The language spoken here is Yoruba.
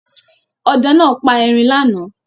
Ọdẹ náà pa erin lánàá.